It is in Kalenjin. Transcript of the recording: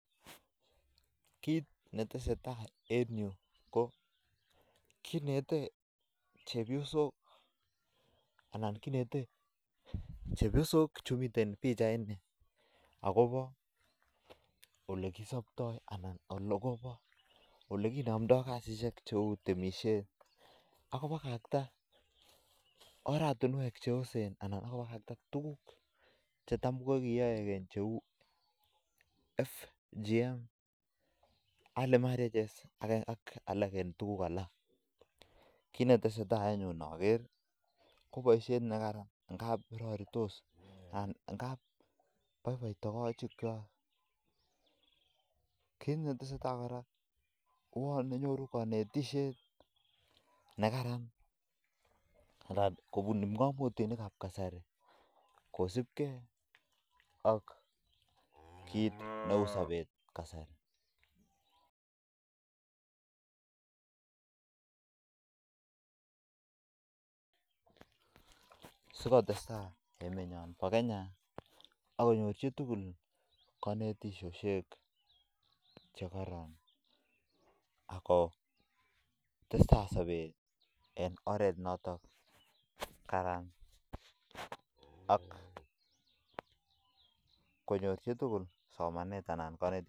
Kit netesetai en yu ko kinete chepyosok olekinomdoi kasishek chebo temisiet akobakakta oratunwek cheosen cheu [FGM] ak katunisiet Nebo tai ngap raritos akoboiboi togoshek kwaak akouyo nyoru kaanetishet nekararan amu nyoru saber neu saboni sikotestai sabet akonyor kaanetishet nekararan ako kararan konyor chitugul somanet